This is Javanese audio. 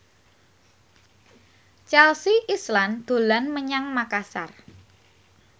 Chelsea Islan dolan menyang Makasar